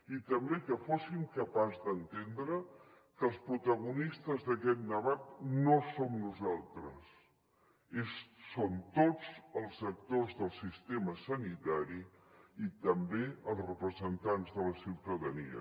i també que fóssim capaços d’entendre que els protagonistes d’aquest debat no som nosaltres són tots els actors del sistema sanitari i també els representants de la ciutadania